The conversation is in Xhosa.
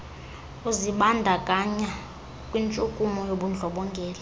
uzibandakanya kwintshukumo yobundlobongela